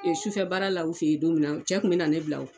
sufɛ baara la u fe ye don min na cɛ tun bɛ na ne bila o.